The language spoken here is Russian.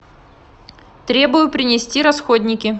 требую принести расходники